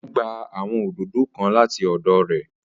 O gba awọn òdodo kàn lati ọdọ rẹ